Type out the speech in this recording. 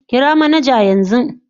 Kira manaja yanzu